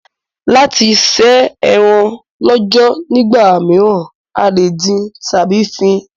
Láti se eran lọ́jọ̀ nígbà míràn, a lè dín tábí fín